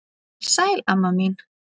Sæl amma mín.